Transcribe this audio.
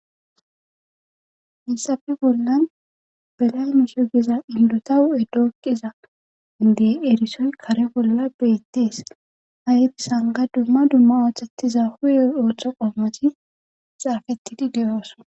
Hinsafi bollan belamuse giza indotahu7edookqiza indey erisoy kare bolla beettees hayeri sanga dumma dumma ooththettiza huye ooththo qommati xaafettidi de7ooso.